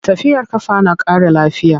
Tafiyar ƙafa na ƙara lafiya.